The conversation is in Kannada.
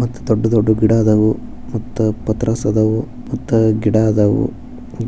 ಮತ್ ದೊಡ್ದು ದೊಡ್ದು ಗಿಡ ಅದ್ದವು ಮತ್ ಪಾತ್ರಸ ಅದಾವು ಮತ್ ಗಿಡ ಅದ್ದವು